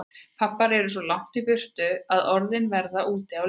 Pabbar eru svo langt í burtu að orðin verða úti á leiðinni.